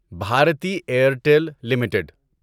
Bharati Airtel limited